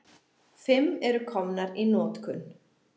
Fimm eru komnar í notkun.